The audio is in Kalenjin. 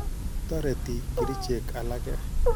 Toreti kerichek alake.